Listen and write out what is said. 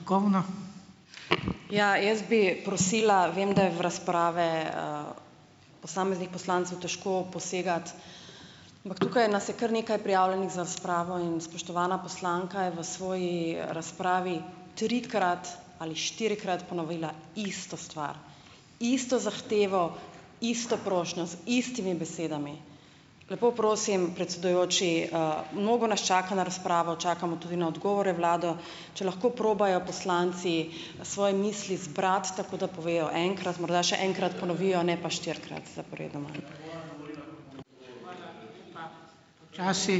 Ja, jaz bi prosila, vem, da je v razprave, posameznih poslancev težko posegati, ampak tukaj nas je kar nekaj prijavljenih za razpravo in spoštovana poslanka je v svoji razpravi trikrat ali štirikrat ponovila isto stvar, isto zahtevo, isto prošnjo z istimi besedami. Lepo prosim, predsedujoči, mnogo nas čaka na razpravo, čakamo tudi na odgovore vlado, če lahko probajo poslanci svoje misli zbrati tako, da povejo enkrat, morda še enkrat ponovijo, ne pa štirikrat zaporedoma.